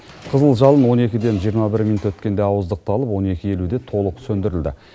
қызыл жалын он екіден жиырма бір минут өткенде ауыздықталып он екі елуде толық сөндірілді